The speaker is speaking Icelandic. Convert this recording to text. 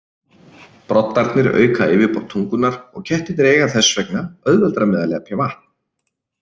Broddarnir auka yfirborð tungunnar og kettirnir eiga þess vegna auðveldara með að lepja vatn.